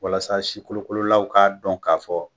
Walasa sikolokololaw k'a dɔn k'a fɔ